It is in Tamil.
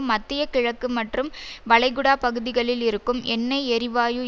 மத்திய கிழக்கு மற்றும் வளைகுடா பகுதிகளில் இருக்கும் எண்ணெய் எரிவாயு